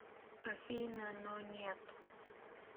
афина но нет